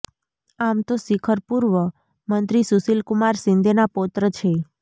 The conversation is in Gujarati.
આમ તો શિખર પૂર્વ મંત્રી સુશીલ કુમાર શિંદેના પૌત્ર છે